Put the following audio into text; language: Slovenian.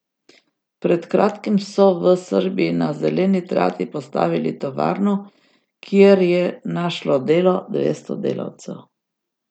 Pred kratkim so v Srbiji na zeleni trati postavili tovarno, kjer je našlo delo dvesto delavcev.